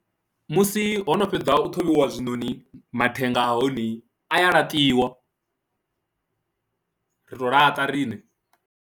Musi ho no fhedza u ṱhuvhiwa zwinoni mathenga a hone a ya laṱiwa, ri tou laṱa riṋe.